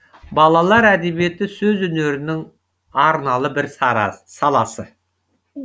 балалар әдебиеті сөз өнерінің арналы бір саласы